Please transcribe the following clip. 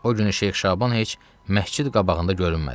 O günü Şeyx Şaban heç məscid qabağında görünmədi.